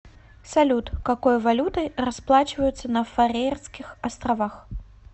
салют какой валютой расплачиваются на фарерских островах